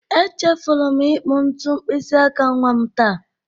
Echefuru m ịkpụ ntu mkpịsị aka nwa m taa.